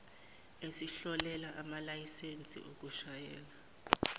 esihlolela amalayisensi okushayela